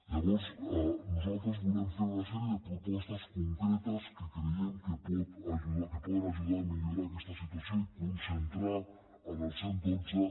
llavors nosaltres volem fer una sèrie propostes concretes que creiem que poden ajudar a millorar aquesta situació i concentrar en el cent i dotze